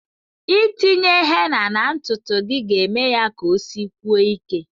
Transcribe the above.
Itinye henna na ntutu gị na-eme ya ka osikwue ike.